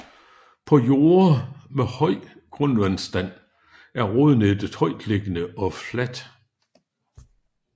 På jorde med høj grundvandsstand er rodnettet højtliggende og fladt